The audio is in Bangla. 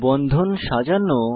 বন্ধন সাজানো